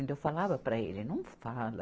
Então, eu falava para ele, não fala.